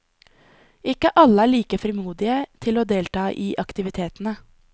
Ikke alle er like frimodige til å delta i aktivitetene.